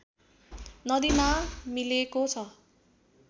नदीमा मिलेको छ